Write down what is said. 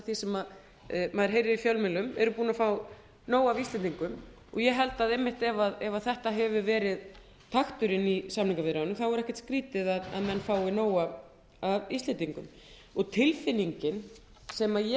því sem maður heyrir í fjölmiðlum eru búnir að fá nóg af íslendingum og ég held einmitt að ef þetta hefur verið takturinn í samningaviðræðunum þá er ekkert skrýtið að menn fái nóg af íslendingum og tilfinningin sem ég